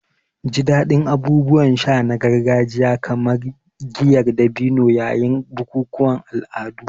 Ji daɗin abubuwan sha na gargajiya kamar giyar dabino yayin bukukuwan al'adu.